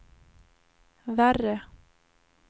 värre